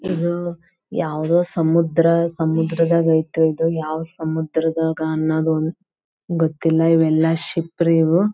ಇದು ಯಾವುದೊ ಸಮುದ್ರ ಸಮುದ್ರದಾಗೇತ್ರಿ ಇದು ಯಾವ್ ಸಮುದ್ರ ಗೊತ್ತಿಲ್ಲ ಇವೆಲ್ಲ ಶಿಪ್ ರೀ ಇವು.